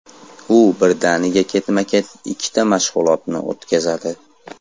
U birdaniga ketma-ket ikkita mashg‘ulotni o‘tkazadi.